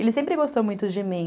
Ele sempre gostou muito de mim.